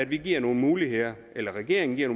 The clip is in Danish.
vi giver nogle muligheder eller regeringen giver